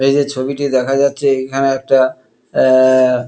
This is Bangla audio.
এইযে ছবিটি দেখা যাচ্ছে এইখানে একটা অ্যা-আ-আ --